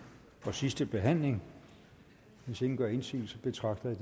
og sidste behandling hvis ingen gør indsigelse betragter jeg